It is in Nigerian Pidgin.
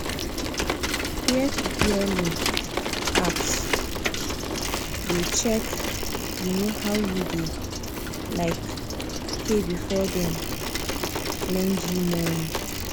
peer to peer loan apps dey check um how you dey um pay before before dem lend you money